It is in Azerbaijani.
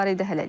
Hələlik.